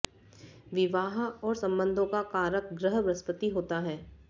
विवाह और संबंधों का कारक ग्रह बृहस्पति होता है